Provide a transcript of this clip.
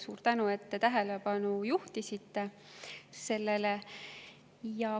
Suur tänu, et te sellele tähelepanu juhtisite!